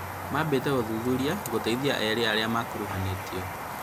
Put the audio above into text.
Maambĩtie ũthuthuria gũteithia eerĩ arĩa makuruhanĩtio